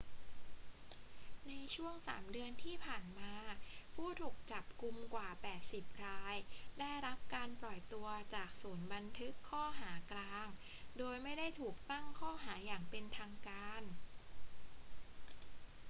ในช่วง 3 เดือนที่ผ่านมา ผู้ถูกจับกุมกว่า 80 รายได้รับการปล่อยตัวจากศูนย์บันทึกข้อหากลางโดยไม่ได้ถูกตั้งข้อหาอย่างเป็นทางการ